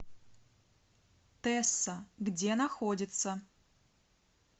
тесса где находится